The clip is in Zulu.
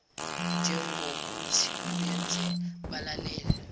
njengokuthi ubenze balalele